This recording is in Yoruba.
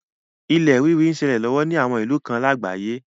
Ilẹ̀ rírì n ṣẹlẹ̀ lọ́wọ́ ni àwọn ìlú kan lágbàáyé.